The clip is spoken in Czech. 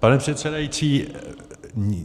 Pane předsedající,